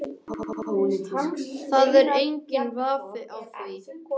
Það er enginn vafi á því